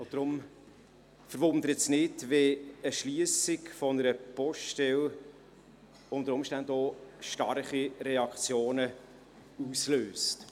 Deshalb verwundert es nicht, wenn die Schliessung einer Poststelle unter Umständen auch starke Reaktionen auslöst.